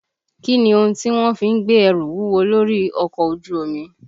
Kí ni ohun tí wọ́n fi ń gbé ẹrù wúwo lórí ọkọ̀ ojú omi?